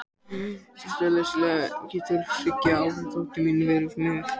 Frekara lesefni á Vísindavefnum Getur þriggja ára dóttir mín verið með kvíða?